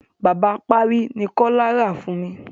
Bàbá apárí ni Kọ́lá rà fún mi.